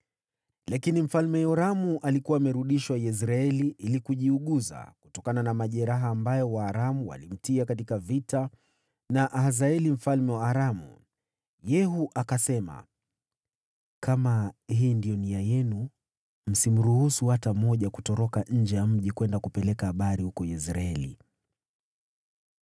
lakini Mfalme Yoramu alikuwa amerudishwa Yezreeli ili kujiuguza kutokana na majeraha ambayo Waaramu walimtia katika vita na Hazaeli mfalme wa Aramu.) Yehu akasema, “Kama hii ndiyo nia yenu, msimruhusu hata mmoja kutoroka nje ya mji kwenda kupeleka habari huko Yezreeli.”